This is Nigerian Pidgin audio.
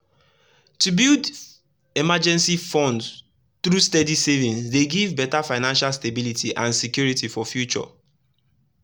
to build emergency fund through steady savings dey give better financial stability and security for future